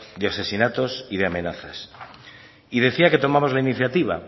de asesinatos y de amenazas y decía que tomamos la iniciativa